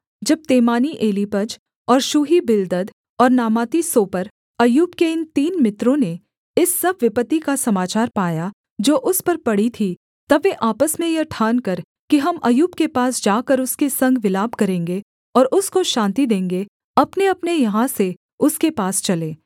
जब तेमानी एलीपज और शूही बिल्दद और नामाती सोपर अय्यूब के इन तीन मित्रों ने इस सब विपत्ति का समाचार पाया जो उस पर पड़ी थीं तब वे आपस में यह ठानकर कि हम अय्यूब के पास जाकर उसके संग विलाप करेंगे और उसको शान्ति देंगे अपनेअपने यहाँ से उसके पास चले